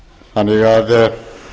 þannig að